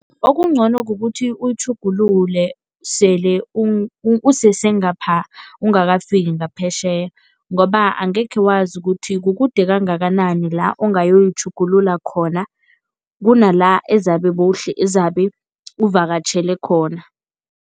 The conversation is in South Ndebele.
Okungcono kukuthi uyitjhugulule sele usesengapha, ungakafiki ngaphetjheya ngoba angekhe wazi ukuthi kukude kangakanani la ongayoyitjhugulula khona, kunala ezabe ezabe uvakatjhele khona.